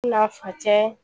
N'a fa cɛ